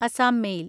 Assam mail